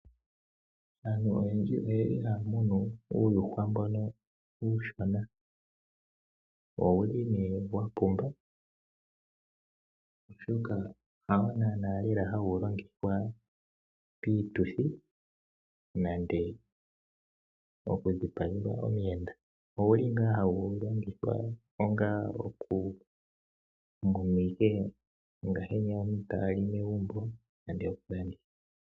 Aantu oyendji ohaya munu uuyuhwa mboka uushona, ihe owa pumba, oshoka hawo naanaa hawu longithwa piituthi nenge okudhipagelwa omuyenda. Ohawu longithwa okumunwa neyaka aantu taya li megumbo, ihe haku landithwa.